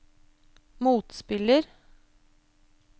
motspiller